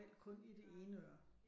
Kun i det ene øre